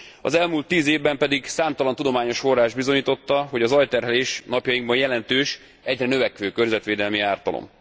Az elmúlt 10 évben pedig számtalan tudományos forrás bizonyította, hogy a zajterhelés napjainkban jelentős, egyre növekvő környezetvédelmi ártalom.